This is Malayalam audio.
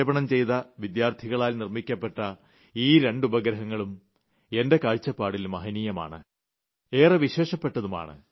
വിക്ഷേപണം ചെയ്ത വിദ്യാർത്ഥികളാൽ നിർമ്മിക്കപ്പെട്ട ഈ രണ്ട് ഉപഗ്രഹങ്ങളും എന്റെ കാഴ്ചപ്പാടിൽ മഹനീയമാണ് ഏറെ വിശേഷപ്പെട്ടതുമാണ്